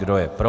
Kdo je pro?